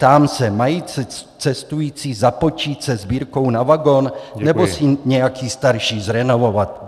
Ptám se: Mají cestující započít se sbírkou na vagon nebo si nějaký starší zrenovovat?